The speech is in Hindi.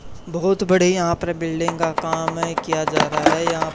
बहुत बड़े यहां पर बिल्डिंग का काम है किया जा रहा है यहां--